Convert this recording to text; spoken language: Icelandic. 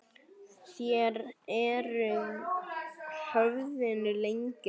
Þér eruð höfðinu lengri.